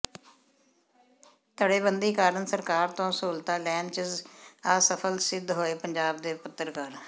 ਧੜੇਬੰਦੀ ਕਾਰਨ ਸਰਕਾਰ ਤੋਂ ਸਹੂਲਤਾਂ ਲੈਣ ਚ ਅਸਫਲ ਸਿੱਧ ਹੋਏ ਪੰਜਾਬ ਦੇ ਪੱਤਰਕਾਰ